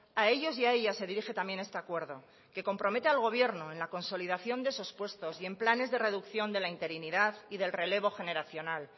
a ellos y a ellas se dirige también este acuerdo que compromete al gobierno en la consolidación de esos puestos y en planes de reducción de la interinidad y del relevo generacional